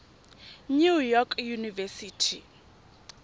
new york university